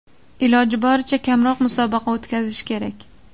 Iloji boricha kamroq musobaqa o‘tkazish kerak.